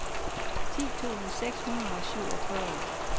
ti tusind seks hundrede og syvogfyrre